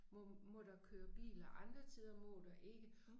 Må må der køre biler andre tider må der ikke